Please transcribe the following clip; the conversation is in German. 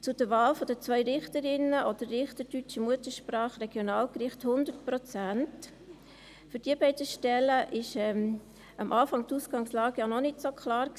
Zur Wahl der beiden Richterinnen oder Richter deutscher Muttersprache für die Regionalgerichte, 100 Prozent: Für diese beiden Stellen war die Ausgangslage am Anfang ja noch nicht so klar.